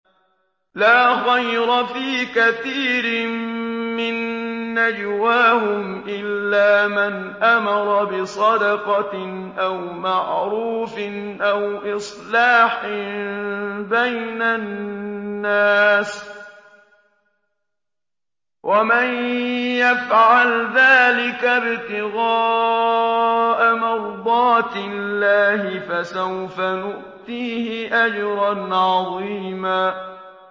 ۞ لَّا خَيْرَ فِي كَثِيرٍ مِّن نَّجْوَاهُمْ إِلَّا مَنْ أَمَرَ بِصَدَقَةٍ أَوْ مَعْرُوفٍ أَوْ إِصْلَاحٍ بَيْنَ النَّاسِ ۚ وَمَن يَفْعَلْ ذَٰلِكَ ابْتِغَاءَ مَرْضَاتِ اللَّهِ فَسَوْفَ نُؤْتِيهِ أَجْرًا عَظِيمًا